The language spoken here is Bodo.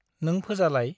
नों फोजालाय ।